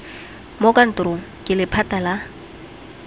mo kantorong ke lephata la